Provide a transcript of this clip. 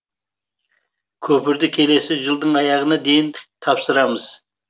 көпірді келесі жылдың аяғына дейін тапсырамыз